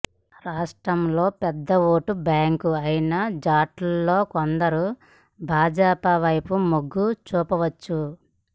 రాష్ట్రంలో పెద్ద vote bank అయిన జాట్లలో కొందరు భాజపా వైపు మొగ్గు చూపవచ్చు